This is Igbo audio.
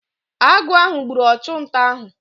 Agụ ahụ gburu ọchụnta ahụ.